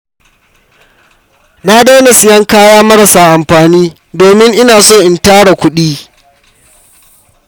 Na daina siyan kaya marasa amfani domin ina so in tara kuɗi.